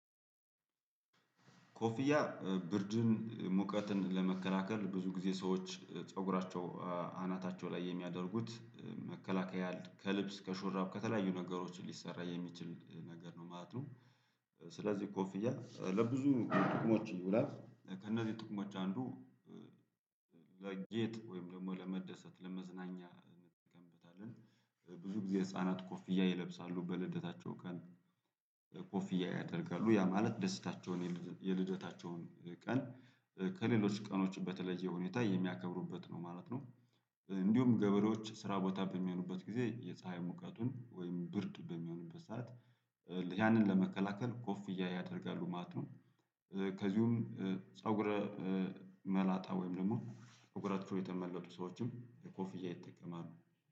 ኮፍያ ብርድን ሙቀትን ለመከላከል ብዙ ጊዜ ሰዎች ፀጉራቸው አናታቸው ላይ የሚያደርጉት መከላከያ ከልብስ ከሾራብ ከተለያዩ ነገሮች ሊሰራ የሚችል ነገር ነው ማለት ነው። ስለዚህ ኮፍያ ለብዙ ጥቅሞች ይውላል ከእነዚህ ጥቅሞች አንዱ ለጌጥ ወይም ደግሞ ለመደሰት ለመዝናኛ እንጠቀምበታለን። ብዙ ጊዜ ህፃናት ኮፍያ ይለብሳሉ በልደታቸው ቀን። ኮፍያ ያደርጋሉ ያ ማለት ደስታቸውን የልደታቸውን ቀን ከሌሎች ቀኖች በተለየ ሁኔታ የሚያከብሩበት ነው ማለት ነው። እንዲሁም ገበሬዎች ስራ ቦታ በሚሆኑበት ጊዜ የፀሀይ ሙቀቱን ወይም ብርድ በሚሆንበት ሰዓት። ያንን ለመከላከል ኮፍያ ያደርጋሉ ማለት ነው። ከዚሁም ፀጉረ መላጣ ወይም ደግሞ ፅጉራቸው የተመለጡ ሰዎችም የኮፍያ ይጠቀማሉ